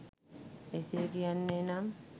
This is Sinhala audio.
එසේ කියන්නේ නම්